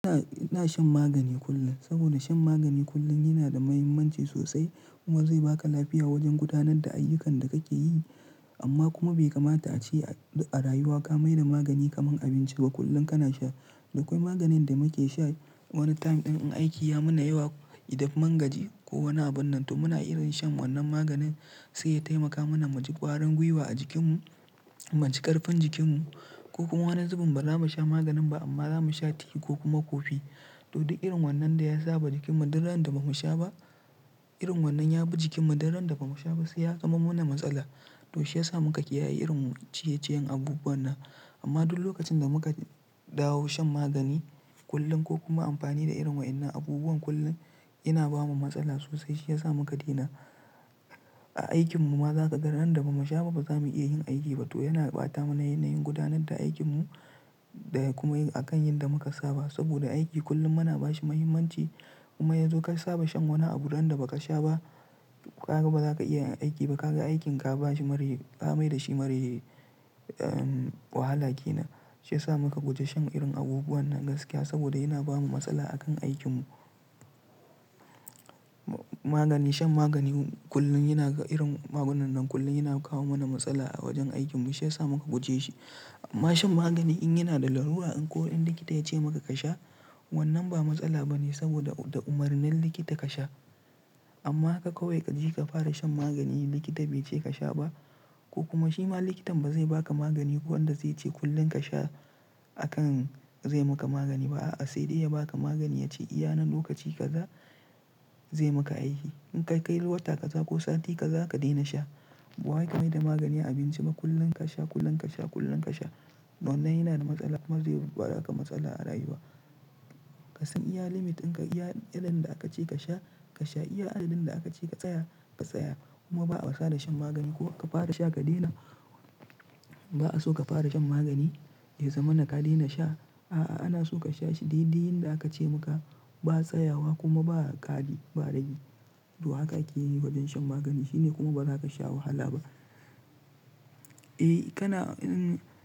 Ina, ina shan magani kullum. Saboda shan magani kullum yana da mahimmanci sosai kuma zai baka lafiya wajen gudanar da ayyukan da kake yi. Amma kuma bai kamata a ce duk a rayuwa ka mai da magani kamar abinci ba kullum kana sha. Da kwai maganin da muke sha wani time ɗin in aiki ya mana yawa, idan mun mangaji ko wani abun nan to muna irin shan wannan maganin sai ya taimaka mana mu ji kwarin gwiwa a jikinmu, mu ji ƙarfin jikinmu ko kuma wani zubin ba za mu sha maganin ba amma za mu sha tea ko kuma kofi. To duk irin wannan da ya sa ba jikinmu duk ranar da ba mu sha ba, irin wannan ya bi jikinmu duk randa da ba mu sha ba sai ya zamo mana matsala. To shi ya sa muka kiyaye irin ciye-ciyen abubuwan nan. Amma duk lokacin da muka dawo shan magani kullum ko kuma amfani da irin wa'yannan abubuwan kullum yana bamu matsala sosai. Shi ya sa muka daina. A aikinmu ma za ka ga ran da ba mu sha ba ba za mu iya yin aiki ba to yana ɓata mana yanayin gudanar da aikinmu. Daga kuma yin a kan yan da muka saba. Saboda aiki kullum muna ba shi muhimmanci kuma yazo ka saba shan wani abu duk ran da ba ka sha ba, kaga ba za ka iya aiki ba ka ga aikin ka ba shi mare, ka mai da shi mare wahala ke nan. Shi ya sa muka guje shan irin abubuwan nan gaskiya saboda yana ba mu matsala a kan aikinmu. Magani, shan magani kullum yana irin magunannan kullum yana kawo mana matsala a wajen aikinmu. Shi ya sa muka guje shi. Amma shan magani in yana da larura in ko in likita ya ce maka ka sha wannan ba matsala ba ne saboda da umarnin likita ka sha. Amma haka kawai ka je ka fara shan magani in likita bai ce ka sha ba ko kuma shi ma likitan ba zai baka magani wanda zai ce kullum ka sha a kan zai maka magani ba. A'a, sai dai ya baka magani ya ce iyana lokaci kaza zai maka aiki. In ka kai wata kaza ko sati kaza ka daina sha. Ba wai ka mai da magani abinci ba kullum ka sha, kullum ka sha, kullum ka sha. Wannan yana da matsala kuma zai baka matsala a rayuwa. Ka san iya limit ɗin ka, iya adadin da aka ce ka sha ka sha, iya adadin da aka ce ka tsaya ka tsaya kuma ba'a wasa da shan magani ko ka fara sha ka daina. Ba a so ka fara shan magani ya zamana ka daina sha. A'a, ana so ka sha shi dai-dai yanda aka ce maka. Ba tsayawa kuma ba ƙari ba ragi. To haka akeyi wajen shan magani shine kuma ba za ka sha wahala ba. Eh, kana.